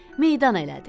Meydan elədi.